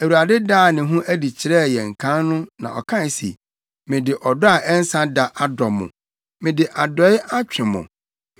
Awurade daa ne ho adi kyerɛɛ yɛn kan no na ɔkae se, “Mede ɔdɔ a ɛnsa da adɔ mo mede adɔe atwe mo.